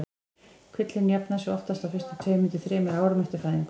Kvillinn jafnar sig oftast á fyrstu tveimur til þremur árum eftir fæðingu.